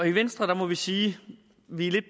i venstre må vi sige at vi er lidt